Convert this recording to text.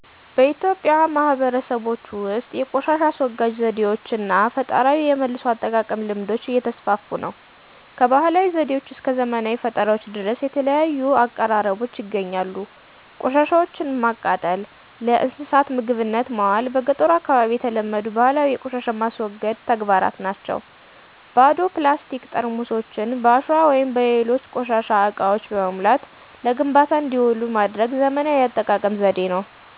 በኢትዮጵያ ማህበረሰቦች ውስጥ የቆሻሻ አስወጋጅ ዘዴዎች እና ፈጠራዊ የመልሶ አጠቃቀም ልምዶች እየተስፋፉ ነው። ከባህላዊ ዘዴዎች እስከ ዘመናዊ ፈጠራዎች ድረስ የተለያዩ አቀራረቦች ይገኛሉ። ቆሻሻወችን ማቃጠል፣ ለእንስሳት ምግብነት ማዋል በ ገጠሩ አካባቢ የተለመዱ ባህላዊ ቆሻሻን የማስወገድ ተግባራት ናቸው። ባዶ ፕላስቲክ ጠርሙሶችን በአሸዋ ወይም በሌሎች ቆሻሻ እቃዎች በመሙላት ለግንባታ እንዲውሉ ማድረግ ዘመናዊ የአጠቃቀም ዘዴ ነው።